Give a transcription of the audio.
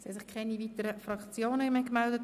Es haben sich keine weiteren Fraktionen gemeldet.